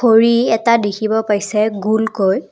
ঘড়ী এটা দেখিব পাইছে গোলকৈ।